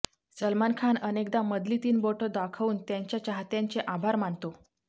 सलमान खान अनेकदा मधली तीन बोटं दाखवून त्याच्या चाहत्यांचे आभार मानतो